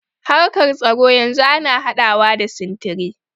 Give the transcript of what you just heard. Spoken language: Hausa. Harkar tsaro yanzu ana haɗawa da sintiri.